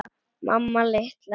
Mamma litla!